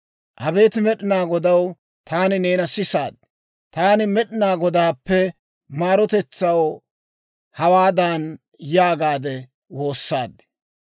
Abeet Med'inaa Godaw, taani neena s'eesaaddi; taani Med'inaa Godaakko maarotetsaw hawaadan yaagaade woossaaddi;